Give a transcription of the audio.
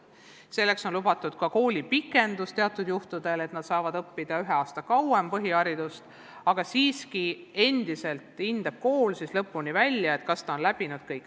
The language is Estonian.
Teatud juhtudel on lubatud taotleda ka koolipikendust, nii et põhiharidust oleks võimalik omandada üks aasta kauem, aga endiselt on kool see, kes hindab, kas õpilane on kõik läbinud.